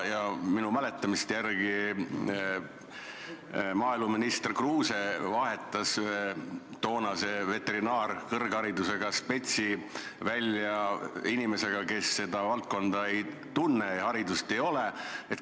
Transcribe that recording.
Minu mäletamist mööda vahetas maaeluminister Kruuse ühe toonase veterinaaria kõrgharidusega spetsialisti välja inimese vastu, kes seda valdkonda ei tunne ja kellel vastavat haridust ei ole.